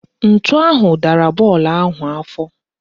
Ntu ahụ dara bọọlụ ahụ afọ